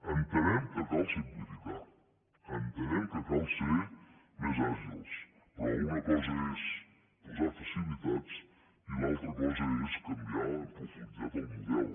entenem que cal simplificar entenem que cal ser més àgils però una cosa és posar facilitats i l’altra cosa és canviar en profunditat el model